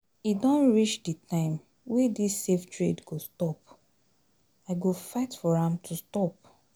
E don reach the time wey dis save trade go stop. I go fight for am to stop.